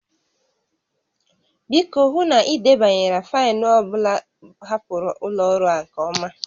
Biko, hụ na ị debanyere faịlụ ọ bụla hapụrụ ụlọ ọrụ a nke ọma